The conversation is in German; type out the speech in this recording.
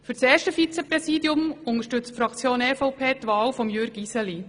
Für das erste Vizepräsidium unterstützt die Fraktion EVP die Wahl von Jürg Iseli.